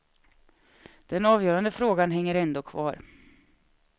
Den avgörande frågan hänger ändå kvar.